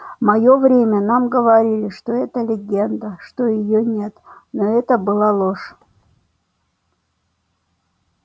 в моё время нам говорили что это легенда что её нет но это была ложь